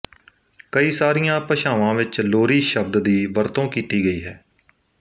ਕਈ ਸਾਰੀਆਂ ਭਾਸ਼ਾਵਾਂ ਵਿਚ ਲੋਰੀ ਸ਼ਬਦ ਦੀ ਵਰਤੋਂ ਕੀਤੀ ਗਈ ਹੈ